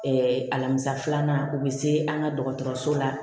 alamisa filanan u bɛ se an ka dɔgɔtɔrɔso la